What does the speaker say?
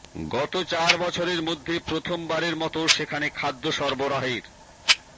গত চার বছরের মধ্যে প্রথমবারের মতো সেখানে খাদ্য সরবরাহের